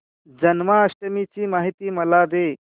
जन्माष्टमी ची माहिती मला दे